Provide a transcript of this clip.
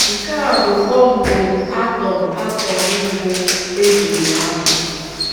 Nke a bụ bọmbụ átọm átọm mbụ e ji lụọ agha.